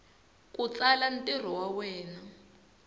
ku tsala ntirho wa wena